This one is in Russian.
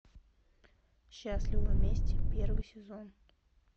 счастливы вместе первый сезон